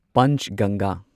Panchganga